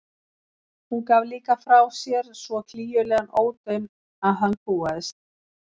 Hún gaf líka frá sér svo klígjulegan ódaun að hann kúgaðist.